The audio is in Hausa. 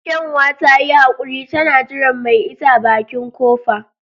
Kyanwa ta yi haquri tana jiran mai ita a bakin kofa.